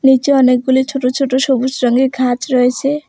নীচে অনেকগুলি ছোট ছোট সবুজ রঙের ঘাচ রয়েছে।